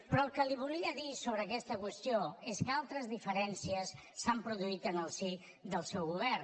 però el que li volia dir sobre aquesta qüestió és que altres diferències s’han produït en el si del seu govern